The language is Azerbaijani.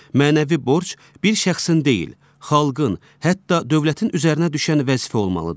Mənəvi borc bir şəxsin deyil, xalqın, hətta dövlətin üzərinə düşən vəzifə olmalıdır.